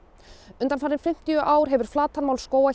undanfarin fimmtíu ár hefur flatarmál skóga